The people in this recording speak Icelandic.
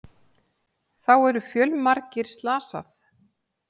Þá eru fjölmargir slasað